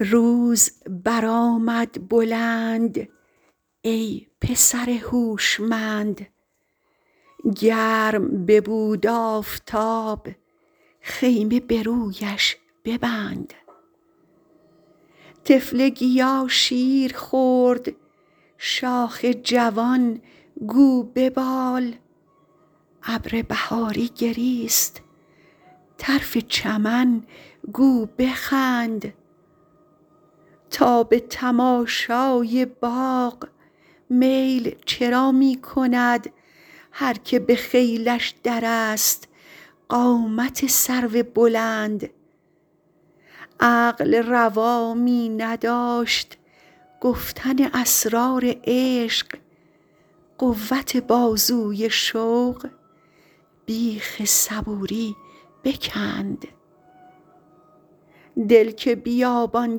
روز برآمد بلند ای پسر هوشمند گرم ببود آفتاب خیمه به رویش ببند طفل گیا شیر خورد شاخ جوان گو ببال ابر بهاری گریست طرف چمن گو بخند تا به تماشای باغ میل چرا می کند هر که به خیلش درست قامت سرو بلند عقل روا می نداشت گفتن اسرار عشق قوت بازوی شوق بیخ صبوری بکند دل که بیابان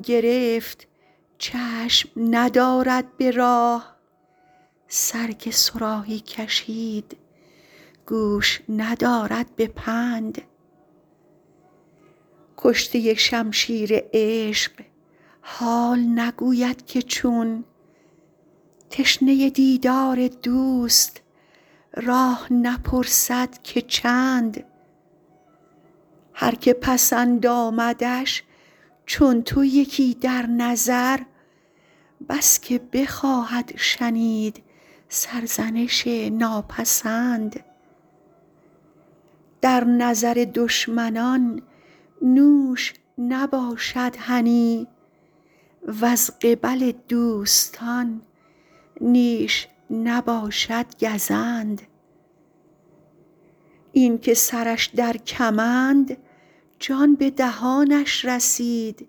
گرفت چشم ندارد به راه سر که صراحی کشید گوش ندارد به پند کشته شمشیر عشق حال نگوید که چون تشنه دیدار دوست راه نپرسد که چند هر که پسند آمدش چون تو یکی در نظر بس که بخواهد شنید سرزنش ناپسند در نظر دشمنان نوش نباشد هنی وز قبل دوستان نیش نباشد گزند این که سرش در کمند جان به دهانش رسید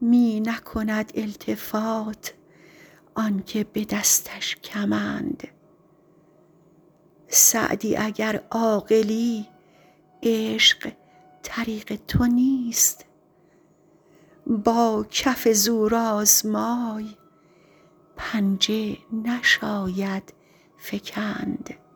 می نکند التفات آن که به دستش کمند سعدی اگر عاقلی عشق طریق تو نیست با کف زورآزمای پنجه نشاید فکند